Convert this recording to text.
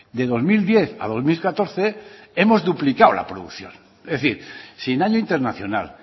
de dos mil diez a dos mil catorce hemos duplicado la producción es decir sin año internacional